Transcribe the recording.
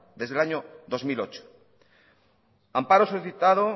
desde el año dos mil ocho amparo solicitado